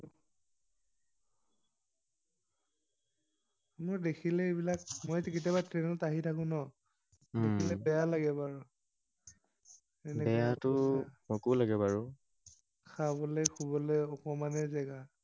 মোৰ দেখিলে এইবিলাক, মইটো কেতিয়াবা ট্ৰেইনত আহি থাকো ন, দেখিলে বেয়া লাগে বৰ। সকলোৰে লাগে বাৰু, খাবলে শুবলৈ অকমানে জেগা।